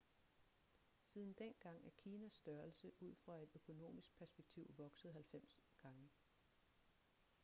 siden dengang er kinas størrelse ud fra et økonomisk perspektiv vokset 90 gange